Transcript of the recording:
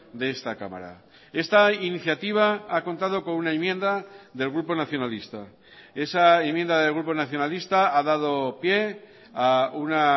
de esta cámara esta iniciativa ha contado con una enmienda del grupo nacionalista esa enmienda del grupo nacionalista ha dado pie a una